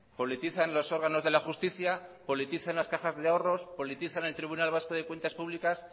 politizan los órganos de la justicia politizan las cajas de ahorros politizan el tribunal vasco de cuentas públicas